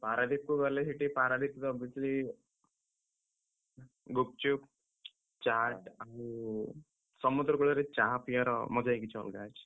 ପାରାଦ୍ୱୀପକୁ ଗଲେ ସେଠି ପାରାଦ୍ୱୀପର ଗୁପ୍‌ଚୁପ୍, ଚାଟ୍ ଆଉ, ସମୁଦ୍ର କୂଳରେ ଚାଆ ପିଇଆର ମଜା କିଛି ଅଲଗା ଅଛି।